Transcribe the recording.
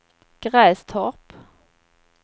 Grästorp